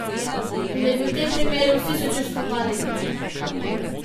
In da bi v tem primeru vsi sočustvovali z njo.